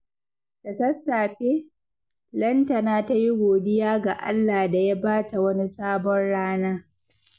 Da sassafe, Lantana ta yi godiya ga Allah da ya ba ta wani sabon rana.